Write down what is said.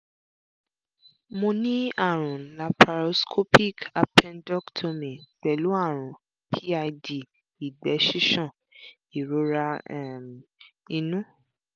mo ní àrùn laparoscopic appendectomy pẹ̀lú àrùn pid ìgbẹ́ ṣíṣàn ìrora um inú